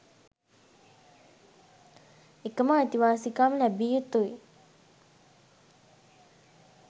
එකම අයිතිවාසිකම් ලැබිය යුතුයි.